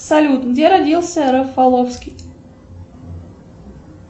салют где родился рафаловский